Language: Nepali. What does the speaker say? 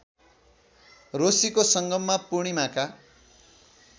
रोशीको सङ्गममा पूर्णिमाका